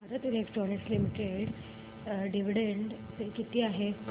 Bharat electronics limited dividend pay किती आहे